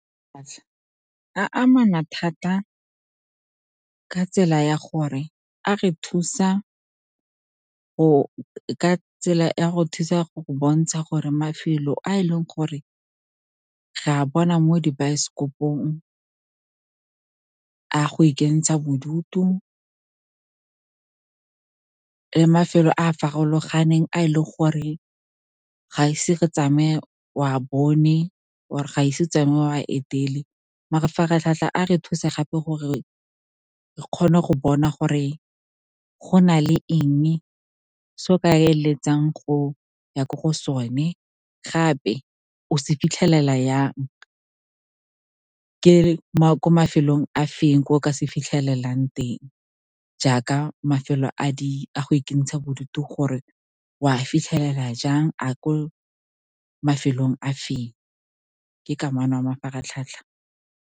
amana thata ka tsela ya go thusa go go bontsha gore mafelo a e leng gore re a bona mo dibaesekopong a go ikentsha bodutu, mafelo a a farologaneng a e leng gore ga ise ke tsamaye o a bone, or ga ise o tsamaye o a etele. Mafaratlhatlha a re thusa gape gore re kgone go bona gore go na le eng se o ka eletsang go ya ko go sone, gape o se fitlhelela jang, e le ko mafelong a feng, ko o ka se fitlhelelang teng. Jaaka mafelo a a go ikentsha bodutu gore o a fitlhelela jang, a le ko mafelong a feng, ka kamano ya mafaratlhatlha.